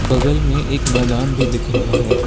बगल में एक मैदान भी दिख रहा है।